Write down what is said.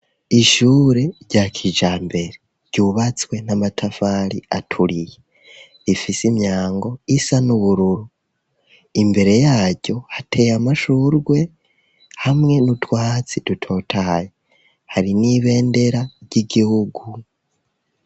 Ishure rya kijambere ryubatswe n'amatafari aturiye ifise imyango isa n'ubururu imbere yaryo hateye amashurwe hamwe n'utwatsi dutotaye hari n'ibendera ry'igihugu.